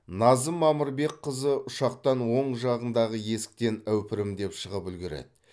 назым мамырбекқызы ұшақтаң оң жағындағы есіктен әупірімдеп шығып үлгереді